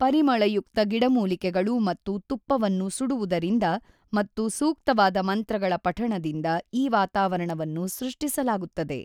ಪರಿಮಳಯುಕ್ತ ಗಿಡಮೂಲಿಕೆಗಳು ಮತ್ತು ತುಪ್ಪವನ್ನು ಸುಡುವುದರಿಂದ ಮತ್ತು ಸೂಕ್ತವಾದ ಮಂತ್ರಗಳ ಪಠಣದಿಂದ ಈ ವಾತಾವರಣವನ್ನು ಸೃಷ್ಟಿಸಲಾಗುತ್ತದೆ.